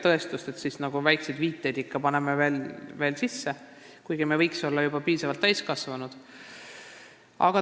Tõestuseks me paneme ikka veel oma juttu väikseid viiteid sellele sisse, kuigi me võiks juba piisavalt täiskasvanud olla.